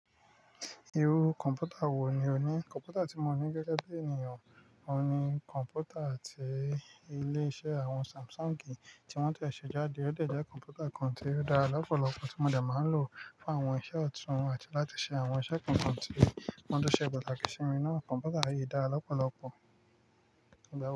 Irú kọ̀npútà wò ní o ní? Kọ̀npútà tí mo ní gẹ́gẹ́ bí ènìyàn, mo ní kọ̀npútà àti ilé iṣẹ́ àwọn Samsung tí wọ́n ti ṣe jáde, ó jẹ́ kọ̀npútà kan tí ó dára lọ́pọ̀lọpọ̀ tí mo dẹ̀ máa ń lò fún àwọn iṣẹ́ ọ̀tún àti láti ṣe àwọn iṣẹ́ kọ̀ọ̀kan tí wọ́n dẹ ṣe pataki si mi náà. Kọ̀npútà yìí dára lọ́pọ̀lọpọ̀, ìdábọ̀wọ̀